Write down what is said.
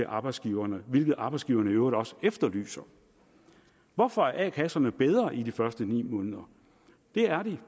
arbejdsgiverne hvilket arbejdsgiverne i øvrigt også efterlyser hvorfor er a kasserne bedre de første ni måneder det er de